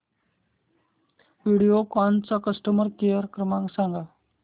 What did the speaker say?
व्हिडिओकॉन चा customer care क्रमांक सांगा